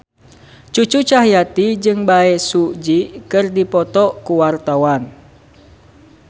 Cucu Cahyati jeung Bae Su Ji keur dipoto ku wartawan